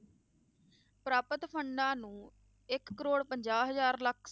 ਪ੍ਰਾਪਤ funds ਨੂੰ ਇੱਕ ਕਰੌੜ ਪੰਜਾਹ ਹਜ਼ਾਰ ਲੱਖ